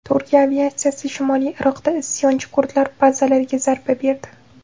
Turkiya aviatsiyasi shimoliy Iroqda isyonchi kurdlar bazalariga zarba berdi.